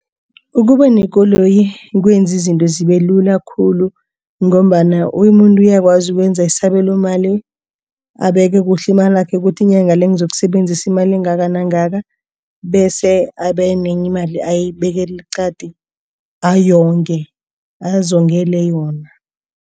Ukuba nekoloyi kwenza izinto zibe lula khulu ngombana umuntu uyakwazi ukwenza isabelomali. Abeke kuhle imalakhe kuthi inyanga le ngizokusebenzisa imali engaka nangaka bese enye imali ayibekele eqadi ayewonge azongele yona.